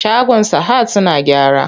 Shagon sahad suna gyara.